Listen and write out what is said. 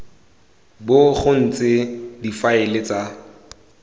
bo go ntse difaele tsa